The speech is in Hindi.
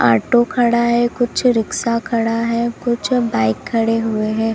ऑटो खड़ा है कुछ रिक्शा खड़ा है कुछ बाइक खड़े हुए हैं।